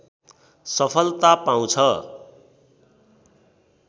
सफलता पाउँछ